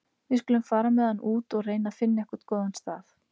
Við skulum fara með hann út og reyna að finna einhvern góðan stað.